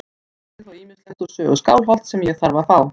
Enn vantar mig þó ýmislegt úr sögu Skálholts sem ég þarf að fá.